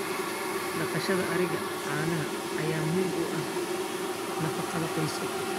Dhaqashada ariga caanaha ayaa muhiim u ah nafaqada qoyska.